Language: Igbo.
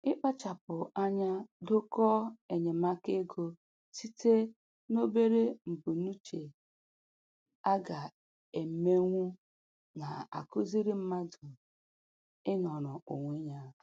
Ịkpachapụ anya dokọọ enyemaka ego site n'obere mbunuche a ga-emenwu na-akụziri mmadụ ịnọrọ onwe ya.